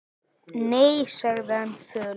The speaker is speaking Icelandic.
Nei, sagði hann fölur.